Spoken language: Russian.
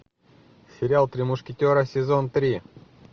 сериал три мушкетера сезон три